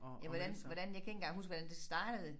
Jamen hvordan hvordan jeg kan ikke engang huske hvordan det startede